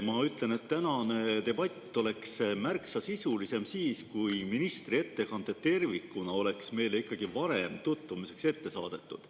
Ma ütlen, et tänane debatt oleks märksa sisulisem siis, kui ministri ettekanne tervikuna oleks meile varem tutvumiseks ette saadetud.